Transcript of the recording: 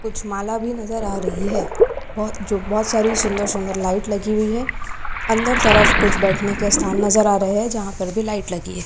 कुछ माला भी नजर आ रही है और जो बहोत सारी सुंदर सुंदर लाइट लगी हुई है अंदर तरफ कुछ बैठने के स्थान नजर आ रहे है जहाँ पर भी लाइट लगी है।